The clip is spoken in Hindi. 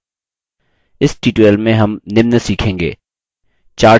इस tutorial में हम निम्न सीखेंगे: